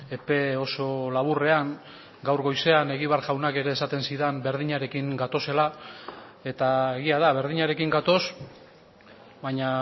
epe oso laburrean gaur goizean egibar jaunak ere esaten zidan berdinarekin gatozela eta egia da berdinarekin gatoz baina